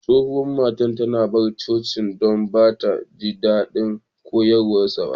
Tsohuwan matan ta bar coci'n dan ba'ta jin dadin koyarswan.